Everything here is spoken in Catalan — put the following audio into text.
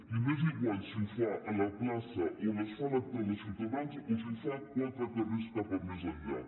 i m’és igual si ho fa a la plaça on es fa l’acte de ciutadans o si ho fa quatre carrers més enllà